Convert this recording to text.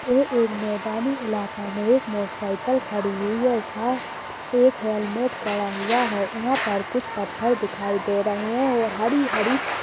ये एक मैदानी इलाका में एक मोटरसाइकिल खड़ी हुई है साथ एक हैलमेट पड़ा हुआ है यहाँ पर कुछ पत्थर दिखाई दे रहे हैं और हरी-हरी--